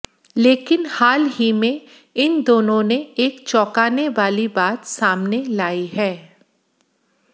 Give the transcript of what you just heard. लेकिन हाल ही में इन दोनों ने एक चौकाने वाली बात सामने लाई है